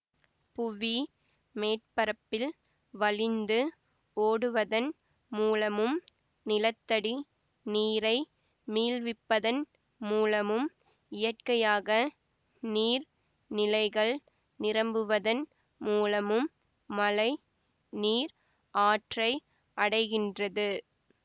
புவி மேற்பரப்பில் வழிந்து ஓடுவதன் மூலமும் நிலத்தடி நீரை மீள்விப்பதன் மூலமும் இயற்கையாக நீர் நிலைகள் நிரம்புவதன் மூலமும் மழை நீர் ஆற்றை அடைகின்றது